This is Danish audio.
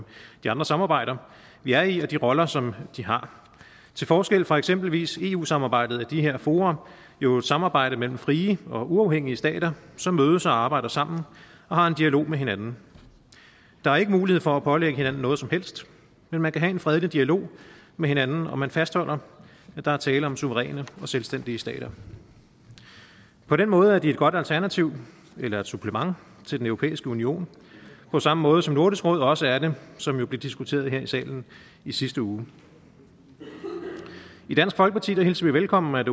de andre samarbejder vi er i og de roller som de har til forskel fra eksempelvis eu samarbejdet er de her fora jo et samarbejde mellem frie og uafhængige stater som mødes og arbejder sammen og har en dialog med hinanden der er ikke mulighed for at pålægge hinanden noget som helst men man kan have en fredelig dialog med hinanden og man fastholder at der er tale om suveræne og selvstændige stater på den måde er de et godt alternativ eller supplement til den europæiske union på samme måde som nordisk råd også er det som jo blev diskuteret her i salen i sidste uge i dansk folkeparti hilser vi velkommen at